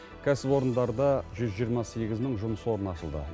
кәсіпорындарда жүз жиырма сегіз мың жұмыс орны ашылды